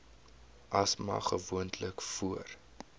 asma gewoonlik voor